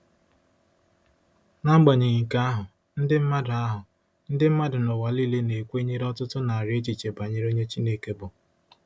N'agbanyeghị nke ahụ, ndị mmadụ ahụ, ndị mmadụ n'ụwa nile na-ekwenyere ọtụtụ narị echiche banyere onye Chineke bụ.